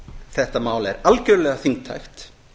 þetta mál er algjörlega þingtækt